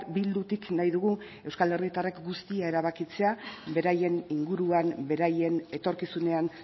bildutik nahi dugu euskal herritarrek guztia erabakitzea beraien inguruan beraien etorkizunean